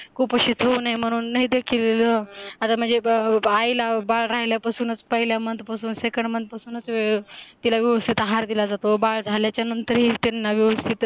कुपोषित होऊ नहे म्हणून लई देखील तर महाणजे बाईला बाळ राहील्या पासूनच पहेलया month पासूनच second month पासूनच त्याला व्यवस्थित आहार दिला जातो, नंतरही त्यांना व्यवस्थित